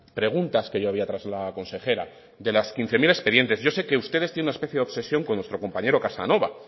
preguntas que yo había trasladado a la consejera de los quince mil expedientes yo sé que ustedes tienen una especie de obsesión con nuestro compañero casanova